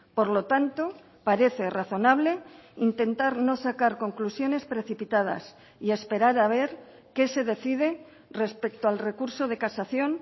por lo tanto parece razonable intentar no sacar conclusiones precipitadas y esperar a ver qué se decide respecto al recurso de casación